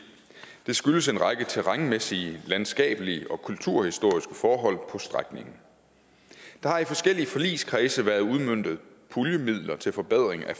det skyldes en række terrænmæssige landskabelige og kulturhistoriske forhold på strækningen der har i forskellige forligskredse været udmøntet puljemidler til forbedring af